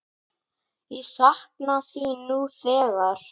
Ég sakna þín nú þegar.